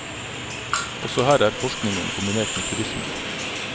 Også her er forskningen kombinert med turisme.